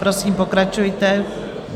Prosím, pokračujte.